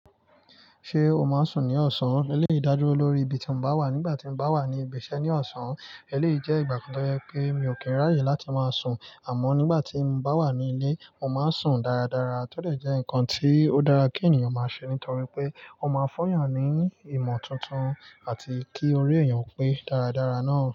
Ṣé o máa ń sùn ní ọ̀sán? Eléyi ìdájú lórí ibi tí mo bá wà nígbà tí mo bá wà ní ibi iṣẹ́ ní ọ̀sán, eléyí jẹ́ ìgbà kan tó jẹ́ pé mi ò kí n ráyè láti máa sùn. Àmọ́ nígbà tí mo bá wà ní ilé, mo máa ń sùn dáradára, tó lè jẹ́ ǹkan tí ó dára kí ènìyàn máa ṣe nítorí pé ó máa ń fu eyàn ní ìmọ̀ tuntun àti kí orí èèyàn pé dáradára náà.